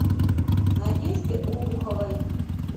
надежде обуховой